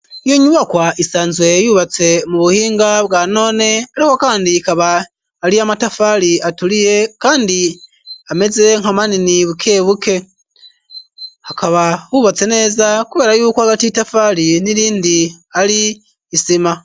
Iyo nyubakwa isanzwe yubatse mu buhinga bwa noone aleho kandi kaba ali a matafaali atuliye kandi ameze nka manini buke buke akaba wubatse neza kubeera yukw agati tafaali nirindi ari isima.